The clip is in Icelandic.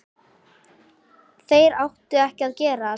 Þeir áttu ekki að gerast.